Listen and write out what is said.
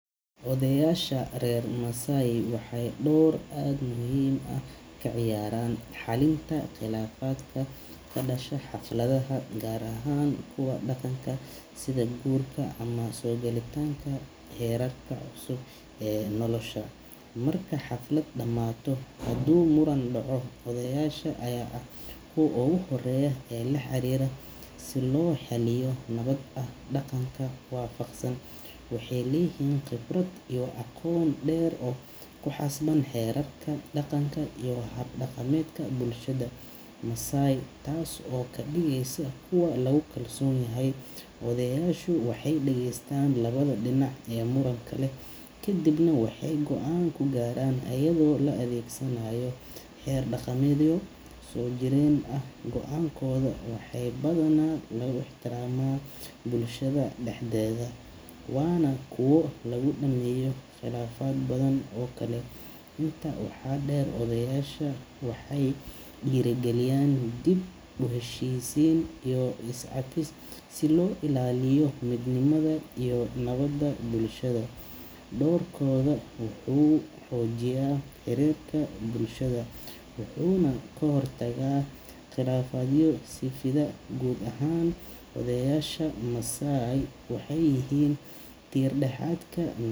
Odayaasha reer Maasai waxay door aad muhiim u ah ka ciyaaraan xallinta khilaafaadka ka dhasha xafladaha, gaar ahaan kuwa dhaqanka sida guurka ama soo galitaanka heerarka cusub ee nolosha. Marka xaflad dhammaato, haduu muran dhaco, odayaasha ayaa ah kuwa ugu horreeya ee la xiriira si loo xalliyo si nabad ah oo dhaqanka waafaqsan. Waxay leeyihiin khibrad iyo aqoon dheer oo ku saabsan xeerarka dhaqanka iyo hab dhaqameedka bulshada Maasai, taas oo ka dhigaysa kuwo lagu kalsoon yahay. Odayaashu waxay dhegeystaan labada dhinac ee muranka leh, kadibna waxay go’aan ka gaaraan iyadoo la adeegsanayo xeer dhaqameedyo soo jireen ah. Go’aankooda waxaa badanaa lagu ixtiraamaa bulshada dhexdeeda, waana kuwo lagu dhameeyo khilaafaad badan oo kale. Intaa waxaa dheer, odayaasha waxay dhiirrigeliyaan dib-u-heshiisiin iyo iscafis si loo ilaaliyo midnimada iyo nabadda bulshada. Doorkooda wuxuu xoojiyaa xiriirka bulshada wuxuuna ka hortagaa khilaafaadyo sii fida. Guud ahaan, odayaasha Maasai waxay yihiin tiir-dhexaadka.